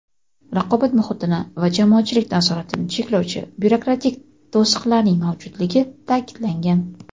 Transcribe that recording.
raqobat muhitini va jamoatchilik nazoratini cheklovchi byurokratik to‘siqlarning mavjudligi ta’kidlangan.